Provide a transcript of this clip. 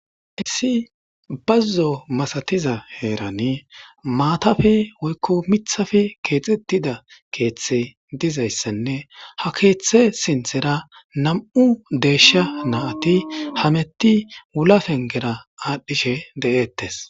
Issi bazzo massathiza herani maathappe woykko mithappe kexxethidda keethi dizayssanne ha keeththe sinththera nammu deyshsha naaththi hametti wulla penggera adhishshe deetess.